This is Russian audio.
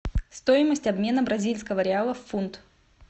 стоимость обмена бразильского реала в фунт